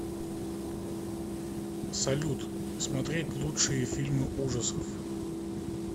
салют смотреть лучшие фильмы ужасов